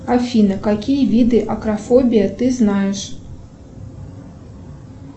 афина какие виды акрофобия ты знаешь